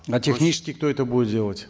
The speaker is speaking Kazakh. а технически кто это будет делать